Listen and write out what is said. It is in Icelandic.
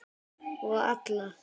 Og alla.